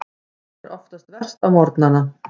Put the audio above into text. Hún er oftast verst á morgnana.